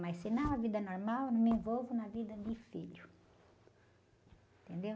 Mas se não, a vida normal, eu não me envolvo na vida de filho.